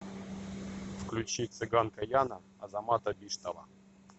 включи цыганка яна азамата биштова